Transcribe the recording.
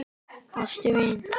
Ástin mín.